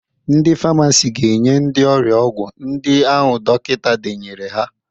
Ndị famasi ga-enye ndị ọrịa ọgwụ ndị ahụ dọkịta denyere ha.